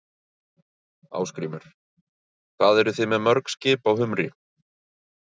Ásgrímur: Hvað eruð þið með mörg skip á humri?